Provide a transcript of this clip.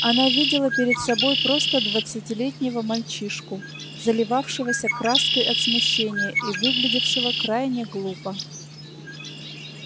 она видела перед собой просто двадцатилетнего мальчишку заливавшегося краской от смущения и выглядевшего крайне глупо